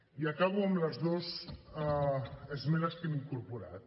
i acabo amb les dues esmenes que hem incorporat